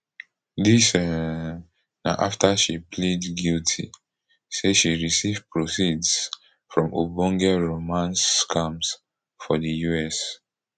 dis um na afta she plead guilty say she receive proceeds from ogbonge romance scams for di us